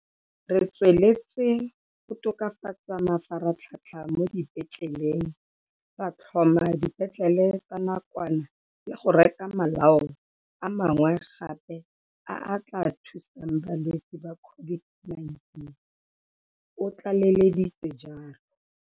Re tsweletse go tokafatsa mafaratlhatlha mo dipetleleng, ra tlhoma dipetlele tsa nakwana le go reka malao a mangwe gape a a tla thusang balwetse ba COV-ID-19, o tlaleleditse jalo.